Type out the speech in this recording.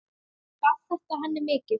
Gaf þetta henni mikið.